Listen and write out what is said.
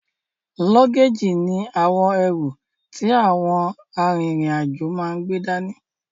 Lọ́géèjì ní àwọn ẹrù ti àwọn a rin ìrìn àjò máa n gbé dání